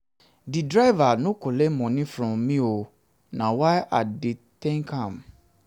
di driver no collect moni from me o na why i dey tank am.